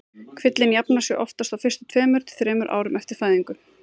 Kvillinn jafnar sig oftast á fyrstu tveimur til þremur árum eftir fæðingu.